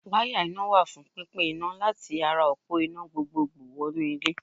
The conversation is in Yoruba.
Wáyà iná wà fún pínpín iná láti ara òpó iná gbogbogbò wọnú ilé.